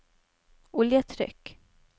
oljetrykk